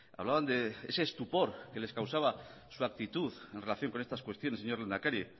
hablaban de ese estupor que les causaba su actitud en relación con estas cuestiones señor lehendakari